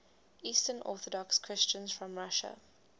eastern orthodox christians from russia